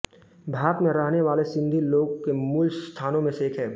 भारत में रहने वाले सिन्धी लोगों के मूल स्थानों में से एक है